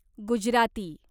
Gujarati